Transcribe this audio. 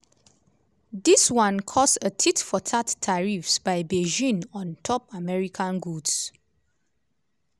dis one cause a tit-for-tat tariffs by beijing on top american goods.